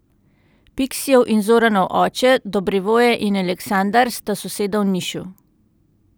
Piksijev in Zoranov oče, Dobrivoje in Aleksandar, sta soseda v Nišu.